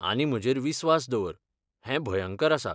आनी म्हजेर विस्वास दवर, हें भयंकरआसा.